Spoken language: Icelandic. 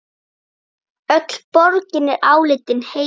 Öll borgin er álitin heilög.